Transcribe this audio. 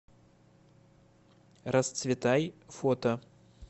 расцветай фото